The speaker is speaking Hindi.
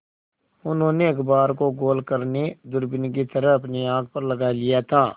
उन्होंने अखबार को गोल करने दूरबीन की तरह अपनी आँख पर लगा लिया था